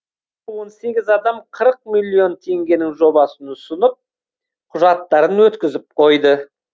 он сегіз адам қырық миллион теңгенің жобасын ұсынып құжаттарын өткізіп қойды